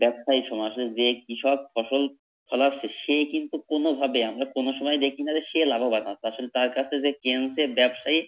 ব্যাবসায়ী সমাজে যে কৃষক ফসল ফোলাচ্ছে সে কিন্তু কোনোভাবে আমরা কোনো সময় দেখিনা যে সে লাভবান হয় আসলে তার কাছে যে কিনছে ব্যাবসায়ী